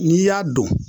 N'i y'a dɔn